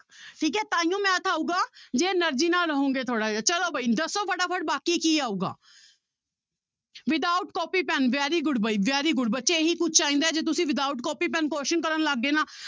ਠੀਕ ਹੈ ਤਾਂਹੀਓ math ਆਊਗਾ ਜੇ energy ਨਾਲ ਰਹੋਗੇ ਥੋੜ੍ਹਾ ਜਿਹਾ ਚਲੋ ਬਾਈ ਦੱਸੋ ਫਟਾਫਟ ਬਾਕੀ ਕੀ ਆਊਗਾ without copy pen very good ਬਾਈ very good ਬੱਚੇ ਇਹੀ ਕੁਛ ਚਾਹੀਦੀ ਹੈ ਜੇ ਤੁਸੀਂ without ਕੋਪੀ ਪਿੰਨ question ਕਰਨ ਲੱਗ ਗਏ ਨਾ